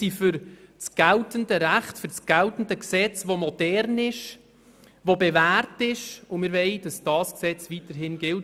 Und wir sind für das geltende Recht, welches modern ist, sich bewährt hat, und wir wollen, dass dieses Gesetz weiterhin gilt.